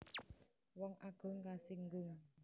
Wong agung kasinggung